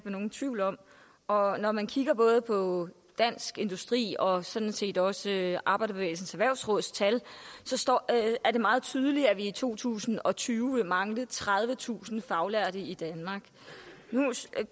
nogen tvivl om og når man kigger både på dansk industris og sådan set også arbejderbevægelsens erhvervsråds tal er det meget tydeligt at vi i to tusind og tyve vil mangle tredivetusind faglærte i danmark nu